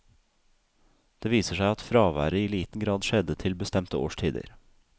Det viser seg at fraværet i liten grad skjedde til bestemte årstider.